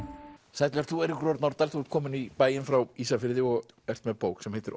sæll vert þú Eiríkur Örn Norðdahl þú ert kominn í bæinn frá Ísafirði og ert með bók sem heitir